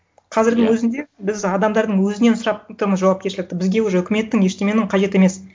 қазірдің өзінде біз адамдардың өзінен сұрап отырмыз жауапкершілікті бізге уже үкіметтің ештеңенің қажет емес